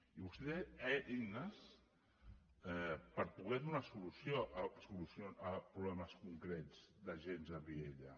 i vostè té eines per poder donar solució a problemes concrets d’agents a vielha